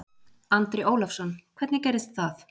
Andri Ólafsson: Hvernig gerðist það?